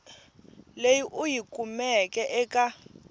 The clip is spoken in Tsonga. leyi u yi kumeke eka